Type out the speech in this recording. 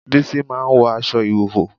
Bísí máa ń wọ aṣọ ìhòòhò